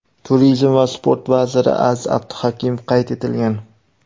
Turizm va sport vaziri Aziz Abduhakimov qayd etilgan.